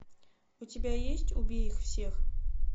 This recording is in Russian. у тебя есть убей их всех